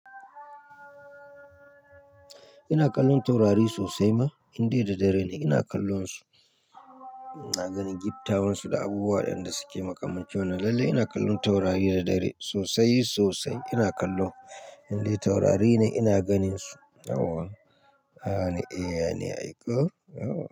Ina kallon taurari sosai ma, indai da dare ne ina kallonsu. Ina ganin gibtawansu da abubuwa da yan da suke makamancin. Lalle ina kallon taurari da dare sosai sosai ina kallo. Indai taurari ne ina ganinsu. Awaww! Aa ne, ee ne, ayy ku. Awaww!